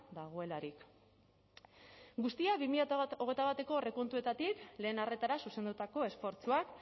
dagoelarik guztia bi mila hogeita batko aurrekontuetatik lehen arretara zuzendutako esfortzuak